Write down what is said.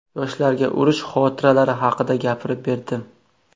Yoshlarga urush xotiralari haqida gapirib berdim.